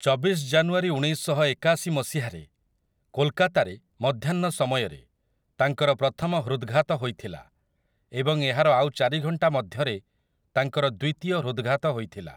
ଚବିଶ ଜାନୁଆରୀ ଉଣେଇଶଶହ ଏକାଶି ମସିହାରେ, କୋଲକାତାରେ, ମଧ୍ୟାହ୍ନ ସମୟରେ, ତାଙ୍କର ପ୍ରଥମ ହୃଦଘାତ ହୋଇଥିଲା, ଏବଂ ଏହାର ଆଉ ଚାରି ଘଣ୍ଟା ମଧ୍ୟରେ ତାଙ୍କର ଦ୍ୱିତୀୟ ହୃଦଘାତ ହୋଇଥିଲା ।